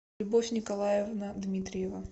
любовь николаевна дмитриева